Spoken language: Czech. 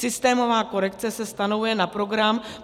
Systémová korekce se stanovuje na program;